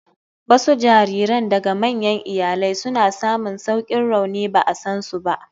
Wasu jariran daga manyan iyalai suna samun saukin rauni ba a san su ba.